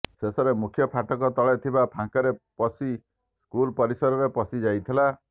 ଶେଷରେ ମୁଖ୍ୟ ଫାଟକ ତଳେ ଥିବା ପାଙ୍କରେ ପଶି ସ୍କୁଲ ପରିସରରେ ପଶି ଯାଇଥିଲା